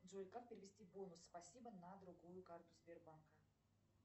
джой как перевести бонус спасибо на другую карту сбербанка